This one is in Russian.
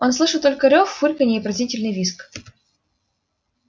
он слышал только рёв фырканье и пронзительный визг